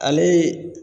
Ale